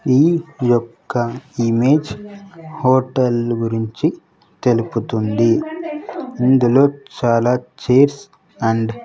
ఈ యొక్క image hotel గురించి తెలుపుతుంది ఇందులో చాలా చైర్స్ అండ్ --